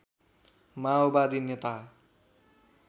माओवादी नेता